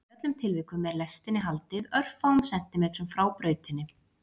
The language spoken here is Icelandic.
Í öllum tilvikum er lestinni haldið örfáum sentímetrum frá brautinni.